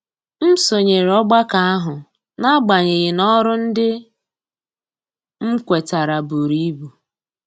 M sonyere ọgbakọ ahụ n'agbanyeghị na ọrụ ndị m kwetara buru ibu.